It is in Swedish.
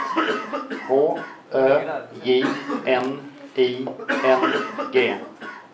H Ö J N I N G